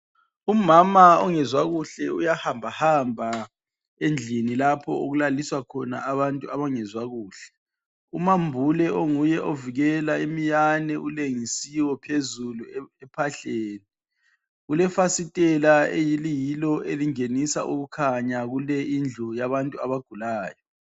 Umama ongezwa kuhle uyahambahamba endlini lapho okulaliswa khona abantu abangezwa kuhle. Umambule onguye ovikela imiyane ulengisiwe phezulu ephahleni. Kulefasitela eliyilo elingenisa ukukhanya kule indlu yabantu abagulayo.